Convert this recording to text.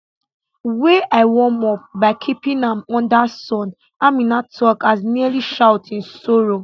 wey i warm up by keeping am under sun amina tok as nearly shout in sorrow